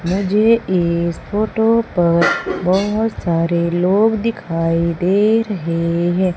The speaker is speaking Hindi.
मुझे इस फोटो पर बहुत सारे लोग दिखाई दे रहे हैं।